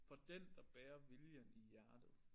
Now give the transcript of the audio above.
For den der bærer viljen i hjertet